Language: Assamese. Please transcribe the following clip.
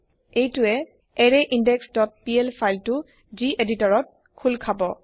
এইটোৱে আৰৰাইনদেশ ডট পিএল ফাইল তু জিএদিতৰত খুল খাব